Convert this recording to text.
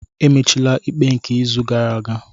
Emechila ikpe nke izu gara aga!